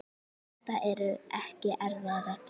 Þetta eru ekki erfiðar reglur.